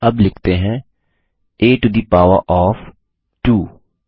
अब लिखते हैं160 a to the power of 2